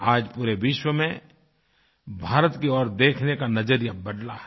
आज पूरे विश्व में भारत की ओर देखने का नज़रिया बदला है